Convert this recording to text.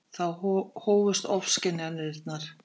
Þá hófust ofskynjanirnar.